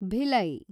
Bhilai